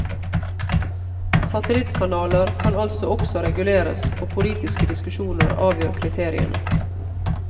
Satellittkanaler kan altså også reguleres, og politiske diskusjoner avgjør kriteriene.